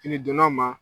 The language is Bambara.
Fini donna ma